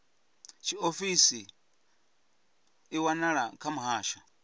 tshiofisi i wanala kha muhasho